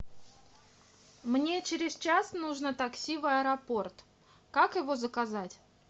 мне через час нужно такси в аэропорт как его заказать